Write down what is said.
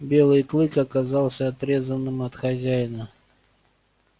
белый клык оказался отрезанным от хозяина